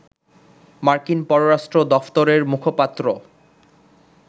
মার্কিন পররাষ্ট্র দফতরের মুখপাত্র